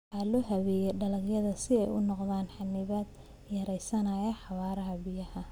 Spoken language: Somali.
Waxaa loo habeeyey dacallada si ay u noqdaan xannibaad yaraynaysa xawaaraha biyaha.